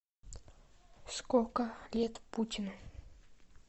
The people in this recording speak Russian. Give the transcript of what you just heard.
сколько лет путину